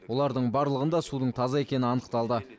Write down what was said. олардың барлығында судың таза екені анықталды